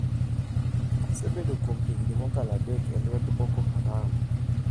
‘Asebedo kuom higni mokalo adek e lwet Boko Haram.